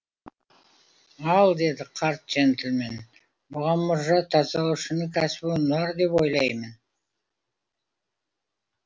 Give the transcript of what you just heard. ал деді қарт жентльмен бұған мұржа тазалаушының кәсібі ұнар деп ойлаймын